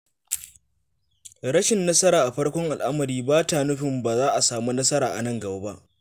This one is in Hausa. Rashin nasara a farkon al'amari ba ta nufin ba za a samu nasara a nan gaba ba.